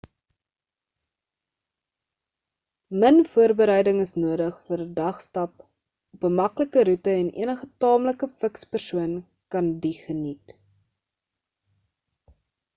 min voorbereiding is nodig vir 'n dag stap op 'n maklike roete en enige taamlike fiks persoon kan die geniet